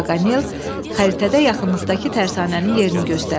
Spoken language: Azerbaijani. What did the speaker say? Paganel xəritədə yaxınlıqdakı tərsanənin yerini göstərdi.